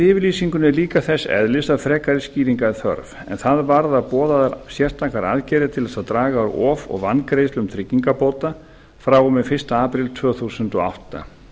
yfirlýsingunni er líka þess eðlis að frekari skýringa er þörf en það varðar boðaðar sérstakar aðgerðir til þess að draga úr of og vangreiðslum tryggingabóta frá og með fyrsta apríl tvö þúsund og átta